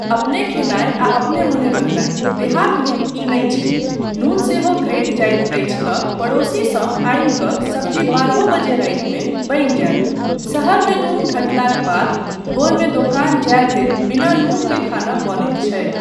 अपने खयनाय आ अपने मने रहनाय, देहातमे ई नहि छै, नून सेहो घटि जाइत अछि तँ पड़ोसीसँ आनि कऽ सब्जी बारहओ बजे रातिमे बनि जायत, शहरमे नून घटलाक बाद भोरमे दोकान जाय धरि बिना नून के खाना बनैत छै।